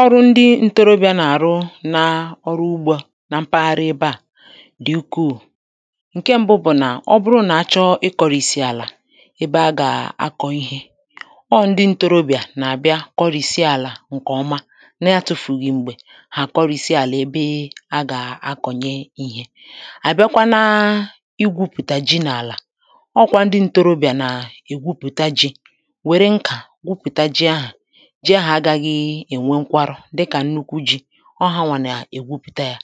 Ọrụ ndị ǹtorobị̀à nà-àrụ na ọrụ ugbō à na mpaghara ebe à dị ukwuù ǹke m̀bụ bụ̀ nà ọ bụrụ nà achọ ịkọ̀rìsì àlà ebe agà akọ̀ ihē ọ̄ ndị ǹtorobị̀à nà-àbịa kọrìsi àlà ǹkè ọma na atụ̄fùghị̀ m̀gbè hà àkọrìsi àlà ebe agà akọ̀nye ihē àbịakwa na igwūpụ̀tà ji n’àlà ọ̄ kwā ndị ǹtorobị̀à nà ègwupụ̀ta jī wère nkà gwupụ̀ta ji ahà ji ahà agāghị ènwe nkwarụ̀ dịkà nnukwu jī ọ̄ hanwà nà ègwupụ̀ta yā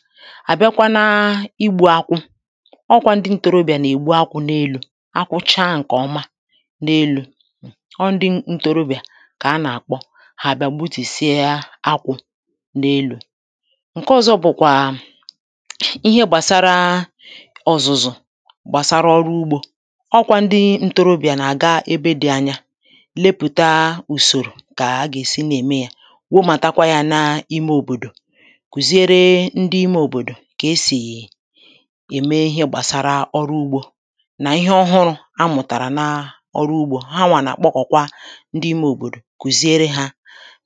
àbịakwa na igbū akwụ ọ̄ kwā ndị ǹtorobị̀à nà-ègbu akwụ̄ n’elū akwụ cha ǹkè ọma na-elū ọ̄ ndị ǹtorobị̀à kà anà-àkpọ hà bị̀à gbutùsịa akwụ̄ n’elū ǹke ọ̀zọ bụ̀kwà ihe gbàsara ọ̀zụ̀zụ̀ gbàsara ọrụ ugbō ọ̄ kwā ndị ǹtorobị̀à nà-àga ebe dị anya lepụ̀ta ùsòrò kà agà èsi na-ème yā wumàtakwa yā na ime òbòdò kụ̀ziere ndị ime òbòdò kà esì ème ihe gbàsara ọrụ ugbō nà ihe ọhụrụ̄ ha mụ̀tàrà na ọrụ ugbō hanwà nà àkpọkọ̀kwa ndị ime òbòdò kụ̀ziere hā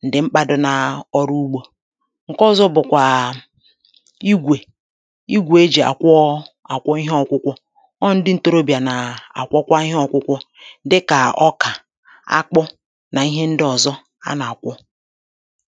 ǹdị̀ mkpā dị na ọrụ ugbō ǹke ọ̀zọ bụ̀kwà igwè igwè ejì àkwọ àkwọ ihe ọkwụkwọ ọ̄ ndị ǹtorobị̀à nà-àkwọkwa ihe ọkwụkwọ dịkà ọkà akpụ nà ihe ndị ọ̀zọ anà-àkwọ